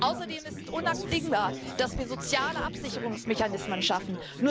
Außerdem ist es unabdingbar, dass wir soziale Absicherungsmechanismen schaffen.